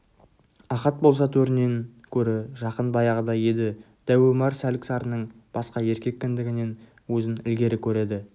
ахат болса төрінен көрі жақын баяғыда еді дәу омар сәлік-сарының басқа еркек кіндігінен өзін ілгері көреді